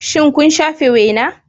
Shin kun shafe wena?